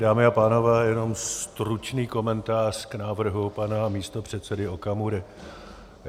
Dámy a pánové, jenom stručný komentář k návrhu pana místopředsedy Okamury.